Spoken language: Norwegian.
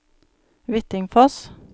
Hvittingfoss